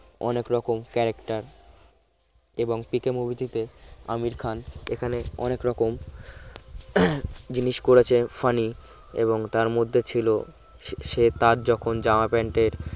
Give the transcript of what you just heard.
অনেক রকম character এবং পিকে movie টিতে আমির খান অনেক রকম উহ জিনিস করেছেন funny এবং তার মধ্যে ছিল সে তার যখন জামা প্যান্টের